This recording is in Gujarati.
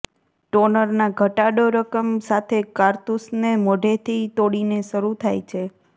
ટોનરના ઘટાડો રકમ સાથે કારતુસને મોઢેથી તોડીને શરૂ થાય છે